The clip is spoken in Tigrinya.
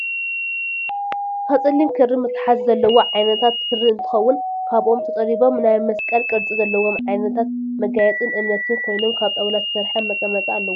ካብ ፀሊም ክሪ መተሓዚ ዘለዎ ዓይነታት ክሪ እትከውን ካብ ኦም ተፀሪቦም ናይ መፅቀል ቅርፂ ዘለዎም ዓይነታት መጋየፅን እምነትን ኮይኖም ካብ ጣውላ ዝተሰረሐ መቀመጢ ኣለዎም።